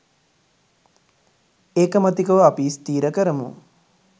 ඒකමතිකව අපි ස්ථිර කරමු